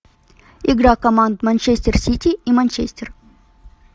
игра команд манчестер сити и манчестер